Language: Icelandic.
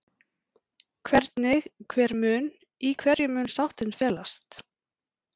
Hvernig, hver mun, í hverju mun sáttin felast?